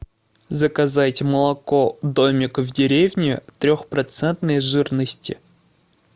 заказать молоко домик в деревне трехпроцентной жирности